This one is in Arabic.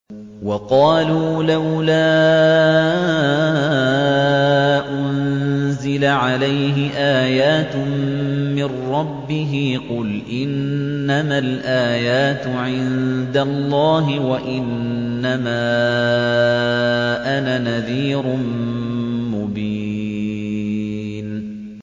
وَقَالُوا لَوْلَا أُنزِلَ عَلَيْهِ آيَاتٌ مِّن رَّبِّهِ ۖ قُلْ إِنَّمَا الْآيَاتُ عِندَ اللَّهِ وَإِنَّمَا أَنَا نَذِيرٌ مُّبِينٌ